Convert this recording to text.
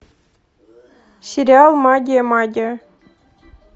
сериал магия магия